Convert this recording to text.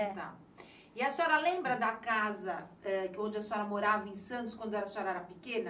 tá. E a senhora lembra da casa onde a senhora morava, em Santos, quando a senhora era pequena?